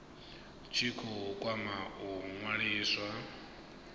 tshi khou kwama u ṅwaliswa